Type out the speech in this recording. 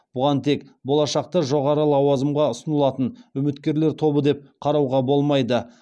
бұған тек болашақта жоғары лауазымға ұсынылатын үміткерлер тобы деп қарауға болмайды